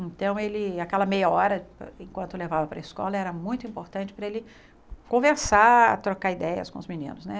Então, ele, aquela meia hora, enquanto levava para a escola, era muito importante para ele conversar, trocar ideias com os meninos, né?